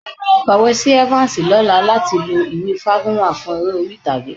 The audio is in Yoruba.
Kọ̀wé sí Evans lọ́la láti lè lo ìwé Fágúnwà fún eré orí-ìtàgé